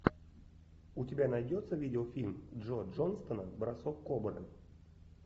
у тебя найдется видеофильм джо джонстона бросок кобры